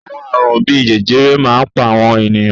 Àwọn àrùn bí i jẹjẹrẹ máa ń pa àwọn ènìyàn.